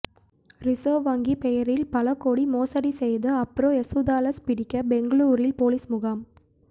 reserve வங்கி பெயரில் பல கோடி மோசடி செய்த அப்ரோ யேசுதாஸை பிடிக்க பெங்களூரில் போலீஸ் முகாம்